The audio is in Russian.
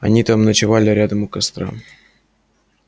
они там ночевали рядом у костра